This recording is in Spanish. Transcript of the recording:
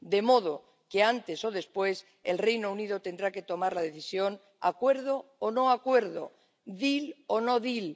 De modo que, antes o después, el Reino Unido tendrá que tomar la decisión acuerdo o no acuerdo, deal o no deal